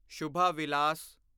Shubha Vilas